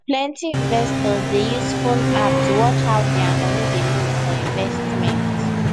plenty investors dey use phone app to watch how dia money dey move for investment